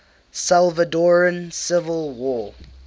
salvadoran civil war